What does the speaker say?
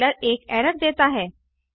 compiler एक error देता है